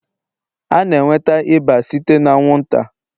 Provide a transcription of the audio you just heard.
A na-enweta ịba site n'ata anwụnta